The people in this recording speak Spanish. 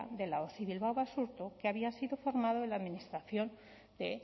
de osi bilbao basurto que había sido formado en la administración de